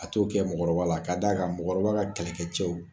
A t'o kɛ mɔgɔkɔrɔba la , ka da kan mɔgɔkɔrɔbaw ka kɛlɛkɛ cɛw